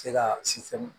Se ka